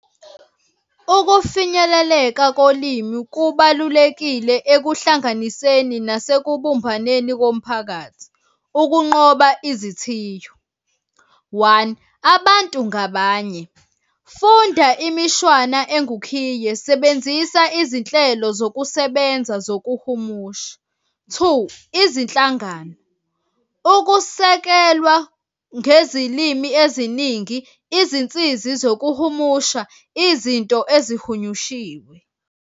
Ukufinyeleleka kolimi kubalulekile ekuhlanganiseni nasekubumbaneni komphakathi. Ukunqoba izithiyo, one, abantu ngabanye, funda imishwana engukhiye. Sebenzisa izinhlelo zokusebenza zokuhumusha. Two, izinhlangano, ukusekelwa ngezilimi eziningi, izinsizi zokuhumusha izinto ezihunyushiwe.